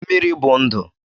Mmiri bụ ndụ